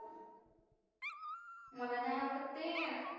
मला नाही आवडत ते.